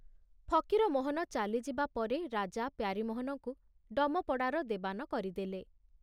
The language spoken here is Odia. ଫକୀରମୋହନ ଚାଲିଯିବା ପରେ ରାଜା ପ୍ୟାରୀମୋହନଙ୍କୁ ଡମପଡ଼ାର ଦେବାନ କରିଦେଲେ।